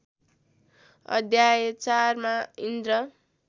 अध्याय चारमा इन्द्र